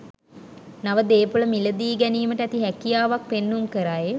නව දේ‍පොළ මිලදී ගැනීමට ඇති හැකියාවක් පෙන්නුම් කරයි.